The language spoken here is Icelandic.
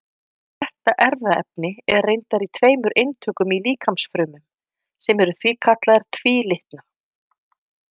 Þetta erfðaefni er reyndar í tveimur eintökum í líkamsfrumum, sem eru því kallaðar tvílitna.